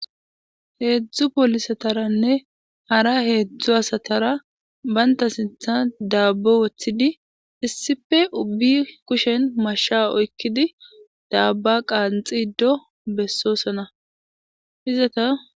Heedzdzu polisataranne hara heedzdzu asatara baynta sinthan daabbo woththidi issife ubbi kushen mashsha oykkidi daabba qaanxido bessoosana izata.